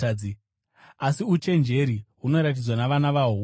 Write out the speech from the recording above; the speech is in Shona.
Asi uchenjeri hunoratidzwa navana vahwo vose.”